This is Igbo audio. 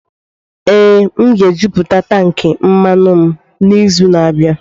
Ee, m ga-ejupụta tankị mmanụ m n'izu na-abịa.